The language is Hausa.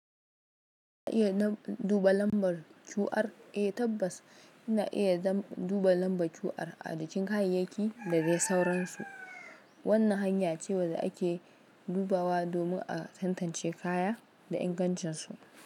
Ina iya duba lambar cu'ar? Eh tabbas ina iya duba lambar su, ajikin kayayyaki da dai sauransu. Wannan hanya ce wanda ake dubawa domin a tantance kaya da ingancinsu.